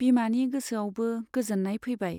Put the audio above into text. बिमानि गोसोआवबो गोजोन्नाय फैबाय।